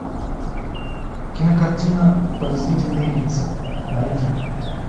кинокартина подозрительные лица найди